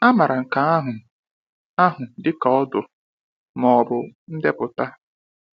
A maara nke ahụ ahụ dị ka ordo, ma ọ bụ ndepụta.